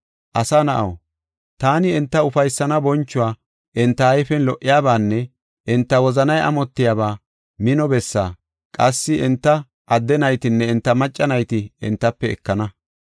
“Asa na7aw, taani enta ufaysaanne bonchuwa, enta ayfen lo77iyabaanne enta wozanay amotiyaba mino bessa, qassi enta adde naytanne enta macca nayta entafe ekana.